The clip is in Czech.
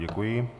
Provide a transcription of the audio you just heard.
Děkuji.